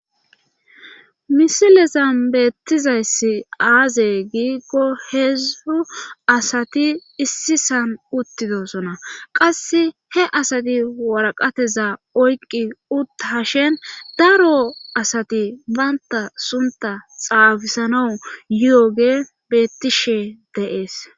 misilezan beettizayssi aaze giiggo heezddu asati issisan uttidosona qas he asati waraqateza oyqqi utta ha shen daro asati baynta sunta xaafisana yuyoge bettishe deees